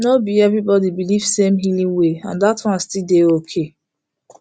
no be everybody believe same healing way and that one still dey okay